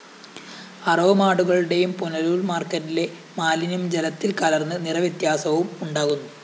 അറവുമാടുകളുടെയും പുനലൂര്‍ മാര്‍ക്കറ്റിലെ മാലിന്യം ജലത്തില്‍ കലര്‍ന്ന് നിറവ്യത്യാസവും ഉണ്ടാകുന്നു